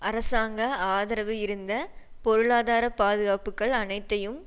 அரசாங்க ஆதரவு இருந்த பொருளாதார பாதுகாப்புக்கள் அனைத்தையும்